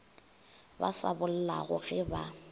ba sa bollago ge ba